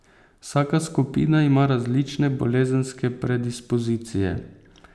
Vsaka skupina ima različne bolezenske predispozicije.